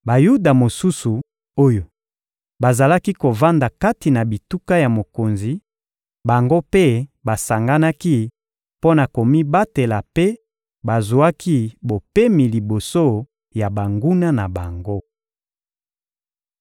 Bayuda mosusu oyo bazalaki kovanda kati na bituka ya mokonzi, bango mpe basanganaki mpo na komibatela mpe bazwaki bopemi liboso ya banguna na bango.